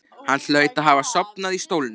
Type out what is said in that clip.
Hann hlaut að hafa sofnað í stólnum.